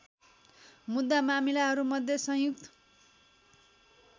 मुद्दा मामिलाहरूमध्ये संयुक्त